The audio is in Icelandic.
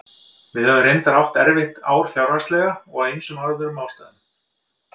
Við höfum reyndar átt erfitt ár fjárhagslega og af ýmsum öðrum ástæðum.